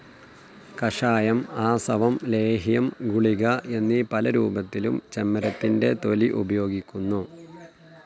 കഷായം, ആസവം, ലേഹ്യം, ഗുളിക എന്നീ പലരൂപത്തിലും ചെമ്മരത്തിന്റെ തൊലി ഉപയോഗിക്കുന്നു.